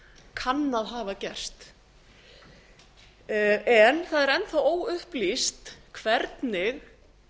kann að hafa gerst en það er enn þá óupplýst hvernig